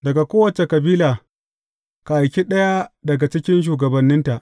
Daga kowace kabila, ka aiki ɗaya daga cikin shugabanninta.